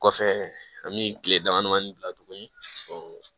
Kɔfɛ an bɛ kile damadamanin bila tuguni